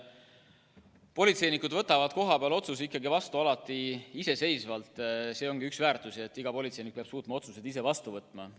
Politseinikud võtavad kohapeal otsuseid vastu alati iseseisvalt, see ongi üks põhimõtteid, et iga politseinik peab suutma otsuseid ise vastu võtta.